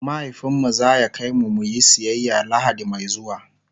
mahaifinmu zaya kaimu muyi siyaya lahadi Mai zuwa